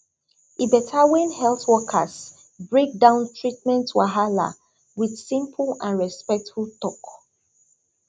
e better when health workers break down treatment wahala with simple and respectful talk